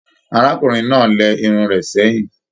Arákùnrin náà lẹ irun rẹ sẹyìn.